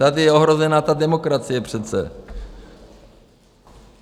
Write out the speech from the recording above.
Tady je ohrožena ta demokracie přece.